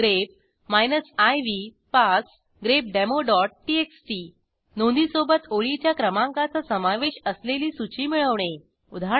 grep iv पास grepdemoटीएक्सटी नोंदीसोबत ओळीच्या क्रमांकाचा समावेश असलेली सूची मिळवणे उदा